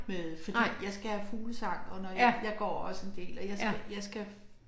Med fordi jeg skal have fuglesang og når jeg jeg går også en del og jeg skal jeg skal